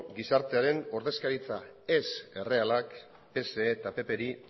gizartearen ordezkaritza ez errealak pse eta pp ri